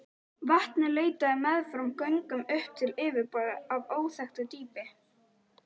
Vatnið leitaði meðfram göngunum upp til yfirborðs af óþekktu dýpi.